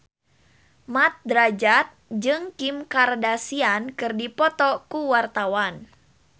Mat Drajat jeung Kim Kardashian keur dipoto ku wartawan